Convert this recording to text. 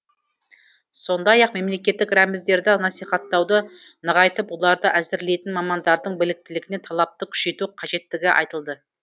сондай ақ мемлекеттік рәміздерді насихаттауды нығайтып оларды әзірлейтін мамандардың біліктілігіне талапты күшейту қажеттігі айтылды